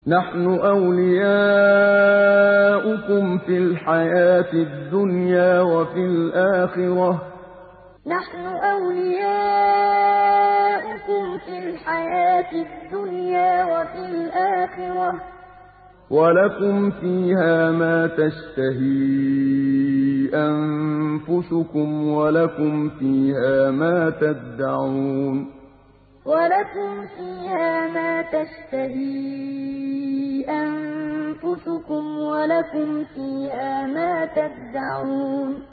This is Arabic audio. نَحْنُ أَوْلِيَاؤُكُمْ فِي الْحَيَاةِ الدُّنْيَا وَفِي الْآخِرَةِ ۖ وَلَكُمْ فِيهَا مَا تَشْتَهِي أَنفُسُكُمْ وَلَكُمْ فِيهَا مَا تَدَّعُونَ نَحْنُ أَوْلِيَاؤُكُمْ فِي الْحَيَاةِ الدُّنْيَا وَفِي الْآخِرَةِ ۖ وَلَكُمْ فِيهَا مَا تَشْتَهِي أَنفُسُكُمْ وَلَكُمْ فِيهَا مَا تَدَّعُونَ